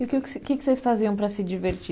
E o que que, que que vocês faziam para se divertir?